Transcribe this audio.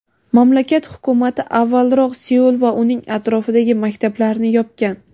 Mamlakat Hukumati avvalroq Seul va uning atrofidagi maktablarni yopgan.